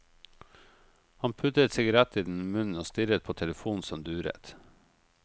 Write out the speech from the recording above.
Han puttet sigaretten i munnen og stirret på telefonen som duret.